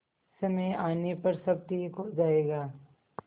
समय आने पर सब ठीक हो जाएगा